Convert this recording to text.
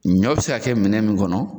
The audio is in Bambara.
Ɲɔ be se ka kɛ minɛn min kɔnɔ